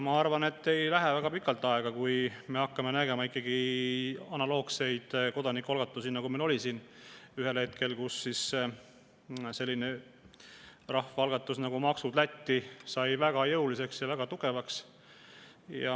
Ma arvan, et ei lähe väga pikalt aega, kui me hakkame nägema analoogseid kodanikualgatusi, nagu meil ühel hetkel oli – selline rahvaalgatus nagu "Maksud Lätti" sai väga jõuliseks ja tugevaks.